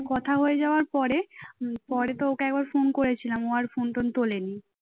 কথা হয়ে যাওয়ার পরে পরে তো ওকে একবার ফোন করেছিলাম ও আর ফোন টোন তোলেনি